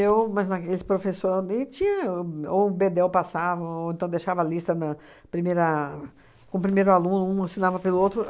Eu mas na esse professor nem tinha... O ou o Bedel passava, ou então deixava a lista na primeira com o primeiro aluno, um ensinava pelo outro.